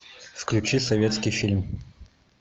включи советский фильм